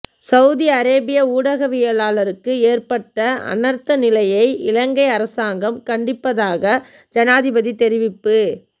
Saudi அரேபிய ஊடகவியலாளருக்கு ஏற்பட்ட அனர்த்த நிலையை இலங்கை அரசாங்கம் கண்டிப்பதாக ஜனாதிபதி தெரிவிப்பு